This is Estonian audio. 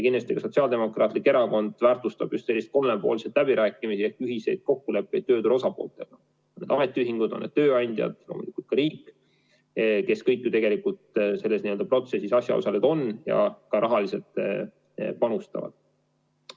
Kindlasti ka Sotsiaaldemokraatlik Erakond väärtustab just selliseid kolmepoolseid läbirääkimisi ehk ühiseid kokkuleppeid tööturu osapooltega, on need ametiühingud, on need tööandjad või on see riik, kes kõik ju tegelikult selles protsessis asjaosalised on ja ka rahaliselt panustavad.